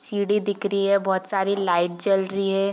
सीढ़ी दिख रही है बहुत सारी लाइट जल रही है।